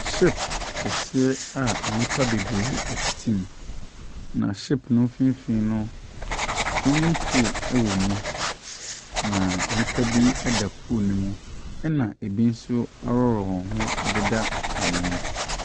Ship kɛseɛ a nnipa bebree tete mu, na ship no mfimfin no, swimming pool wɔ mu. Na nnipa bi da pool nemu na bi nso aworɔ wɔn ho deda ano.